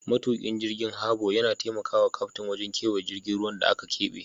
Matukin jirgi na Harbor yana taimaka wa kaftin wajen kewaya cikin ruwan da aka keɓe.